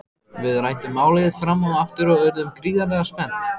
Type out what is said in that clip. Við ræddum málið fram og aftur og urðum gríðarlega spennt.